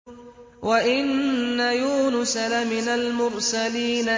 وَإِنَّ يُونُسَ لَمِنَ الْمُرْسَلِينَ